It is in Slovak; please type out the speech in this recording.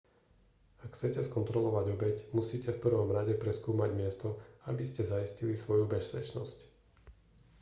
ak chcete skontrolovať obeť musíte v prvom rade preskúmať miesto aby ste zaistili svoju bezpečnosť